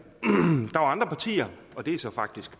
der var andre partier og det er så faktisk